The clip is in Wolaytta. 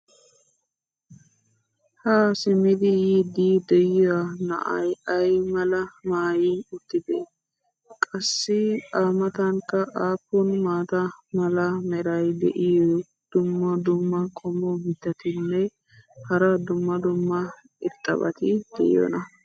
haa simmidi yiidi dioya na"ay ay malaa maayi uttidee? qassi a matankka aappun maata mala meray diyo dumma dumma qommo mitattinne hara dumma dumma irxxabati de'iyoonaa?